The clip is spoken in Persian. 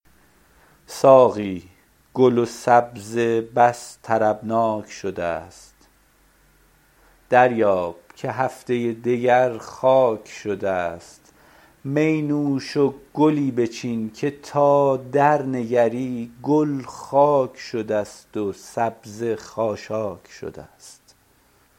ساقی گل و سبزه بس طربناک شده است دریاب که هفته دگر خاک شده است می نوش و گلی بچین که تا درنگری گل خاک شده است و سبزه خاشاک شده است